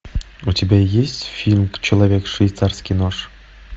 у тебя есть фильм человек швейцарский нож